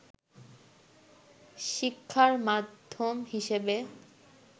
শিক্ষার মাধ্যম হিসেবে